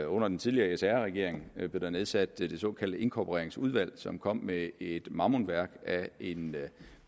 under den tidligere sr regering nedsat det såkaldte inkorporeringsudvalg som kom med et mammutværk af en